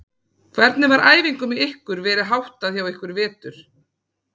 Hvernig var æfingum hjá ykkur verið háttað hjá ykkur í vetur?